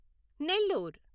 Nellore